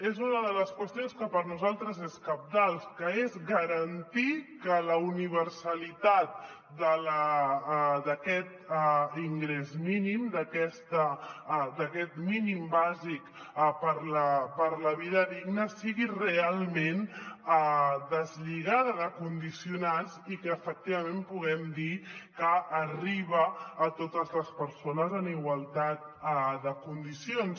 és una de les qüestions que per nosaltres és cabdal que és garantir que la universalitat d’aquest ingrés mínim d’aquest mínim bàsic per a la vida digna sigui realment deslligada de condicionants i que efectivament puguem dir que arriba a totes les persones en igualtat de condicions